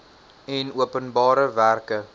en openbare werke